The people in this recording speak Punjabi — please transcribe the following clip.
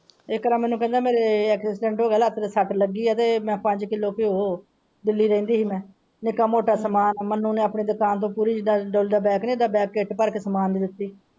ਇੱਕ ਤਾਂ ਮੈਨੂੰ ਕਹਿੰਦਾ ਮੇਰਾ ਐਕਸੀਡੈਂਟ ਹੋ ਗਿਆ ਮੇਰੇ ਲੱਤ ਤੇ ਸਟ ਲੱਗੀ ਹੈ ਤੇ ਮੈਂ ਪੰਜ ਕਿਲੋ ਘਿਓ ਦਿੱਲੀ ਰਹਿੰਦੀ ਸੀ ਮੈਂ ਨਿੱਕਾ ਮੋਟਾ ਸਾਮਨਾ ਮਾਨੁ ਨੇ ਆਪਣੀ ਦੁਕਾਨ ਤੋਂ ਜਿਹੜਾ ਬੈਗ ਨਹੀਂ ਹੁੰਦਾ ਉਹ ਕਿੱਟ ਭਰ ਕੇ ਸਾਮਨਾ ਦਿਤਾ।